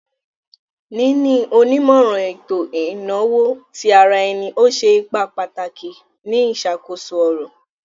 Níni onímọ̀ran ètò inawo tí àrà ẹ̀nì o ṣẹ̀ ìpà pàtàkì ní iṣakoso ọ̀rọ̀.